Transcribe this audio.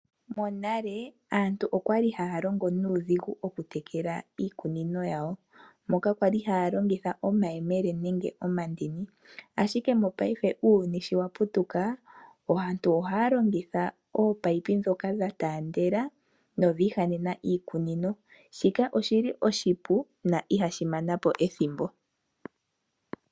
Monale aantu oya li haya longo nuudhigu okutekela iikunino yawo. Moka kwa li haya longitha omayele nenge omandini, ashike uuyuni sho wa putuka aantu ohaya longitha oopayipi ndhoka dha taandela nodhi ihanena iikunino. Shika oshi li oshipu na ihashi mana po ethimbo.